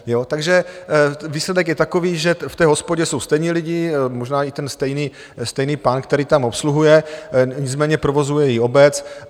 Takže výsledek je takový, že v té hospodě jsou stejní lidé, možná i ten stejný pán, který tam obsluhuje, nicméně provozuje ji obec.